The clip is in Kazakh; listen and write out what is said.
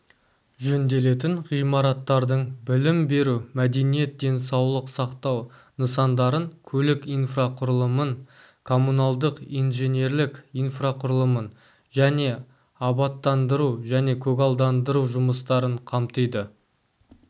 жөнделетін ғимараттардың білім беру мәдениет денсаулық сақтау нысандарын көлік инфрақұрылымын коммуналдық инженерлік инфрақұрылымын және абаттандыру және көгалдандыру жұмыстарын қамтиді